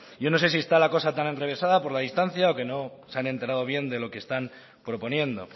yo no sé si está la cosa tan enrevesada por la distancia o que no se han enterado bien de lo que están proponiendo